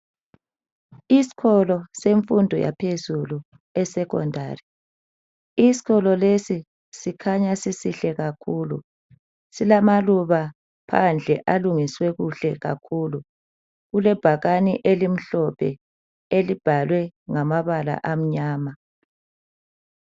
Isikolo semfundo yaphezulu e Secondary . Isikolo lesi sikhanya sisihle kakhulu . Silamaluba phandle alungiswe kuhle kakhulu . Kulebhakani elimhlophe elibhalwe ngamabala amnyama.